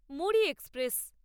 Muri express